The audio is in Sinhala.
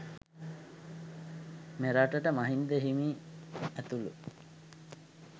මෙරටට මහින්ද හිමි ඇතුළු